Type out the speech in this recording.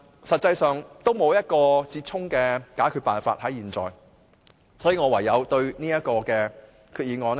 實際上，現在還沒有一個折衷辦法，所以，我唯有對這項決議案投棄權票。